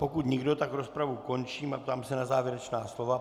Pokud nikdo, tak rozpravu končím a ptám se na závěrečná slova.